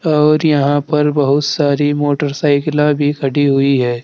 और यहां पर बहुत सारी मोटरसाइकिला भी खड़ी हुई हैं।